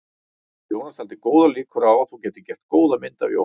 Jónas taldi góðar líkur á að þú gætir gert góða mynd af Jóhanni.